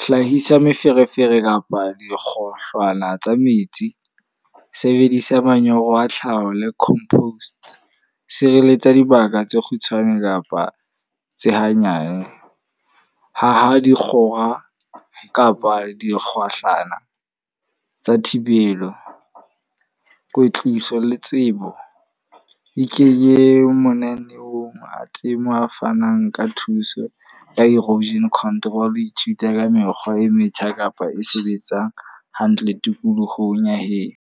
Hlahisa meferefere kapa dikgohlwana tsa metsi. Sebedisa manyolo a tlhaho le compost. Sireletsa dibaka tse kgutshwane kapa tse hanyane. Haha dikgora kapa dikgohlana tsa thibelo, kwetliso le tsebo. E ke ye mananeong a temo a fanang ka thuso ka erosion control. Ithute ka mekgwa e metjha kapa e sebetsang hantle tikolohong ya heno.